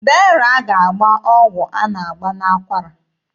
Dera ga-agba ọgwụ a na-agba n'akwara.